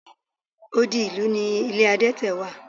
Odi ìlú ni ilé adete wà.